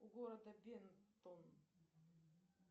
у города бентон